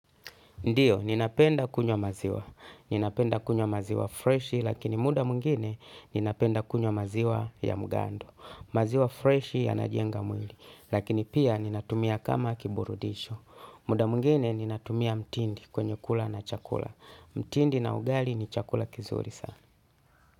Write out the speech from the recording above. Ndiyo, ninapenda kunywa maziwa. Ninapenda kunywa maziwa freshi lakini muda mwingine ninapenda kunywa maziwa ya mugando. Maziwa freshi ya najenga mwili lakini pia ninatumia kama kiburudisho. Muda mwingine ninatumia mtindi kwenye kula na chakula. Mtindi na ugali ni chakula kizuri sana.